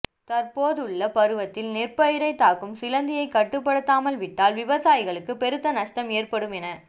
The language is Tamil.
தற்போதுள்ள பருவத்தில் நெற்பயிரைத் தாக்கும் சிலந்தியைக் கட்டுப்படுத்தாமல் விட்டால் விவசாயிகளுக்கு பெருத்த நஷ்டம் ஏற்படும் என